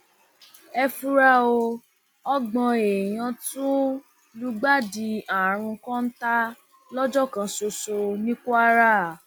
ẹ fura o ọgbọn èèyàn tún lùgbàdì àrùn kọńtà lọjọ kan ṣoṣo ní kwara